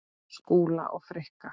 Skúla og Frikka?